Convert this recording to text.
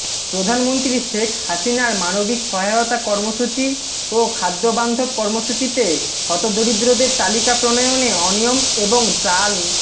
প্রধানমন্ত্রী শেখ হাসিনার মানবিক সহায়তা কর্মসূচি ও খাদ্যবান্ধব কর্মসূচিতে হতদরিদ্রদের তালিকা প্রণয়নে অনিয়ম এবং চাল